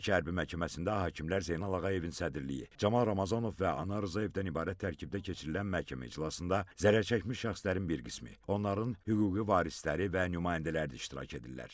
Bakı Hərbi Məhkəməsində hakimlər Zeynal Ağayevin sədrliyi, Camal Ramazanov və Anar Rzayevdən ibarət tərkibdə keçirilən məhkəmə iclasında zərərçəkmiş şəxslərin bir qismi, onların hüquqi varisləri və nümayəndələri də iştirak edirlər.